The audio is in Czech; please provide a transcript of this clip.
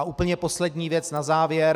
A úplně poslední věc na závěr.